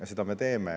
Ja seda me teeme.